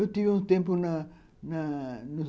Eu tive um tempo na na